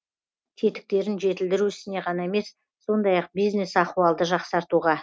тетіктерін жетілдіру ісіне ғана емес сондай ақ бизнес ахуалды жақсартуға